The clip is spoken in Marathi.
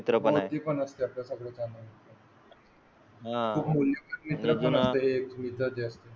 मित्र पण आहेत. हा मित्र आहे. मित्रा च्या.